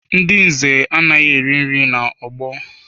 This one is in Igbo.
Ndị nze anaghị eri nri n'ọgbọ